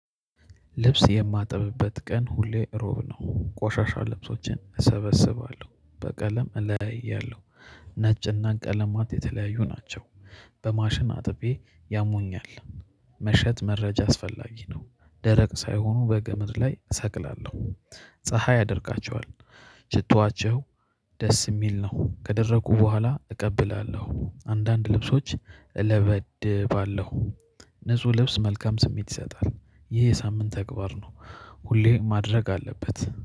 ልብስ የማጠብበት ቀን ሁሌ ሮብ ነው ቆሻሻ ልብሶችን እሰበስባለሁ በቀለም እለያያለሁ ነጭና ቀለማት የተለያዩ ናቸው። በማሽን አጥቤ ያሞኛል። መሸጥ መረጃ አስፈላጊ ነው። ደረቅ ሳይሆኑ በገመድ ላይ እሰቅላለሁ ፀሀይ ያደርቃቸዋል። ሽቷቸው ደስ የሚል ነው ከደረኩ በኋላ እቀብላለሁ። አንዳንድ ልብሶች እለበድባለሁ። ንጹህ ልብስ መልካም ስሜት ይሰጣል። ይሄ የሳምንት ተግባር ነው። ሁሌ ማድረግ አለበት